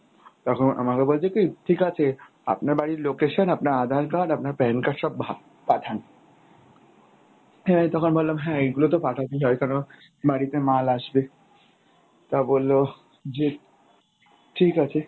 তখন আমাকে বলছে কী, ঠিকাছে আপনার বাড়ির location আপনার aadhar card আপনার PAN card সব পাঠান। হ্যাঁ তখন ভাবলাম হ্যাঁ এইগুলোতো পাঠাতেই হয় কারণ বাড়িতে মাল আসবে। তা বললো যে ঠিক আছে